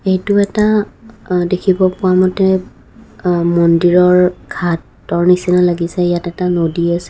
এইটো এটা আ দেখিব পোৱা মতে আ মন্দিৰৰ ঘাটৰ নিচিনা লাগিছে ইয়াত এটা নদী আছে।